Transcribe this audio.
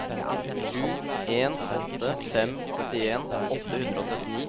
sju en åtte fem syttien åtte hundre og syttini